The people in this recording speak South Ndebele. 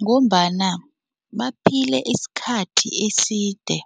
Ngombana baphile isikhathi eside